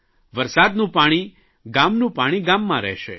વરસાદનું પાણી ગામનું પાણી ગામમાં રહેશે